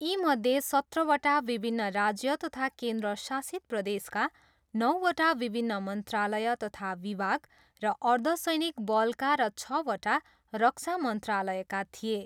यीमध्ये सत्रवटा विभिन्न राज्य तथा केन्द्रशासित प्रदेशका, नौवटा विभिन्न मन्त्रालय तथा विभाग र अर्धसैनिक वलका र छवटा रक्षा मन्त्रालयका थिए।